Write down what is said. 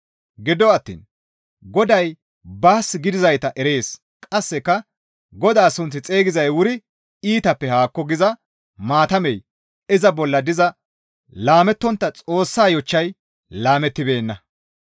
Gido attiin, «Goday baas gidizayta erees.» Qasseka, «Godaa sunth xeygizay wuri iitappe haakko» giza maatamey iza bolla diza laamettontta Xoossaa yochchay laamettibeenna.